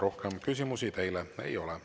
Rohkem küsimusi teile ei ole.